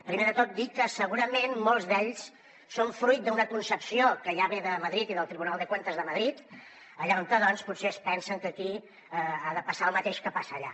primer de tot dir que segurament molts d’ells són fruit d’una concepció que ja ve de madrid i del tribunal de cuentas de madrid allà on potser es pensen que aquí ha de passar el mateix que passa allà